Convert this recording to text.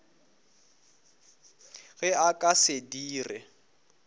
ge a ka se dire